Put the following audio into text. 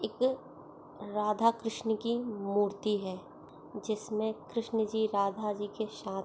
एक राधाकृष्ण की मूर्ति है जिसमें कृष्ण जी राधा जी के साथ--